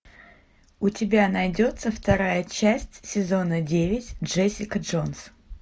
у тебя найдется вторая часть сезона девять джессика джонс